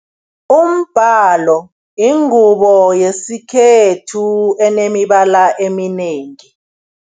Umbalo yingubo yesikhethu enemibala eminengi.